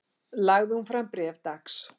Lagði hún fram bréf dags